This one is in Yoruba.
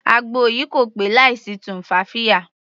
Àgbo yìí kò pé láì sí tumfafiya.